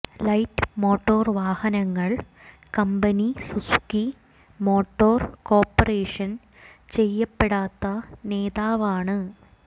light motor വാഹനങ്ങൾ company Suzuki motor corporation ചെയ്യപ്പെടാത്ത നേതാവാണ്